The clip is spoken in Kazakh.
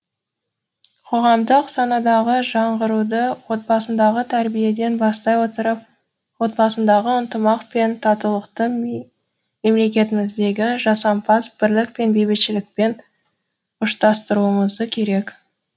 қоғамдық санадағы жаңғыруды отбасыдағы тәрбиеден бастай отырып отбасындағы ынтымақ пен татулықты мемлекетіміздегі жасампаз бірлік пен бейбітшілікпен ұштастыруымызы керек